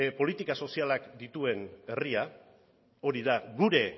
politika sozialak dituen herria hori da gure